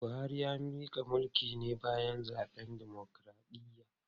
Buhari ya mika mulki ne bayan zaben dimokradiyya.